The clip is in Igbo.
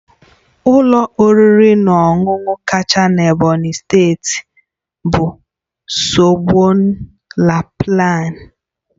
Ụlọ oriri na ọṅụṅụ kacha na Ebonyi steeti bụ Osborne la palm